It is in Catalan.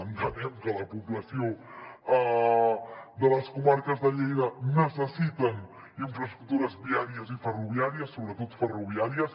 entenem que la població de les comarques de lleida necessita infraestructures viàries i ferroviàries sobretot ferroviàries